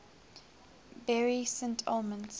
bury st edmunds